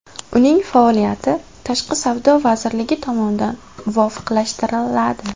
Uning faoliyati Tashqi savdo vazirligi tomonidan muvofiqlashtiriladi.